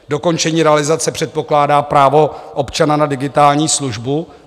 Dokončení realizace předpokládá právo občana na digitální službu.